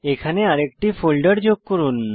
এখানে আরেকটি ফোল্ডার যোগ করুন